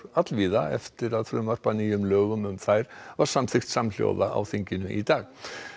allvíða eftir að frumvarp að nýjum lögum um þær var samþykkt samhljóða á þingi í dag